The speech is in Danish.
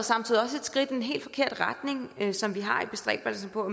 samtidig også et skridt i den helt forkerte retning som vi har i bestræbelserne på